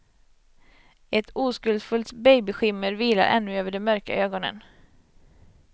Ett oskuldsfullt babyskimmer vilar ännu över de mörka ögonen.